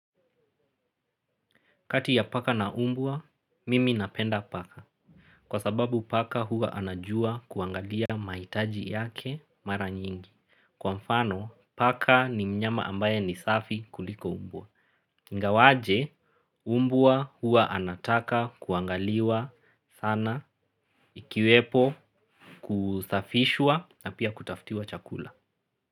Kati ya paka na umbwa, mimi napenda paka. Kwa sababu paka huwa anajua kuangalia mahitaji yake mara nyingi. Kwa mfano, paka ni mnyama ambaye ni safi kuliko mbwa. Ingawaje, umbwa huwa anataka kuangaliwa sana ikiwepo kusafishwa na pia kutafutiwa chakula.